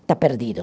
Está perdido.